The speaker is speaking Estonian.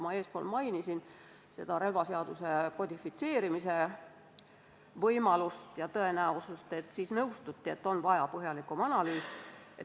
Ma ennist mainisin relvaseaduse kodifitseerimise võimalust ja tõenäosust – sellega seoses nõustuti, et kõnealune ettepanek vajab põhjalikumat analüüsi.